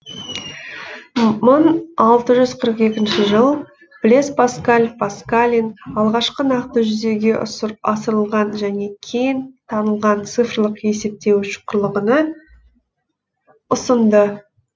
мың алты жүз қырық екінші жыл блез паскаль паскалин алғашқы нақты жүзеге асырылған және кең танылған цифрлық есептеуіш құрылғыны ұсынды